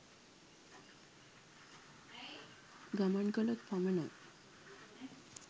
ගමන් කළොත් පමණයි.